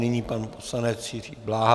Nyní pan poslanec Jiří Bláha.